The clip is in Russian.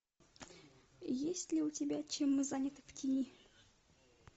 есть ли у тебя чем мы заняты в тени